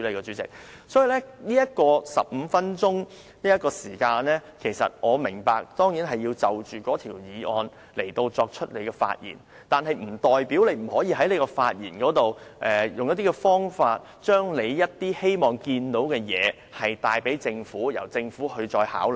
主席，我當然明白這15分鐘的發言時間中，我們需要就議案內容發言，但這並不代表我們不可以在發言中，以某種方法把我們看到的問題告訴政府，由政府再作考量。